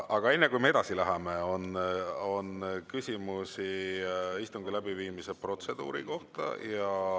Aga enne, kui me edasi läheme, on küsimusi istungi läbiviimise protseduuri kohta.